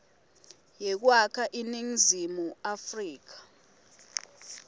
yekwakha iningizimu afrika